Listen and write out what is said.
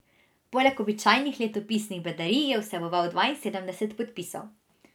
Poleg običajnih letopisnih bedarij je vseboval dvainsedemdeset podpisov.